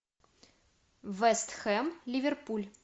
вест хэм ливерпуль